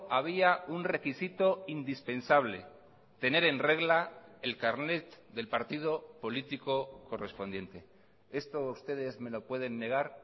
había un requisito indispensable tener en regla el carnet del partido político correspondiente esto ustedes me lo pueden negar